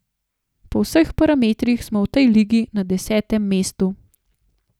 Po vseh parametrih smo v tej ligi na desetem mestu.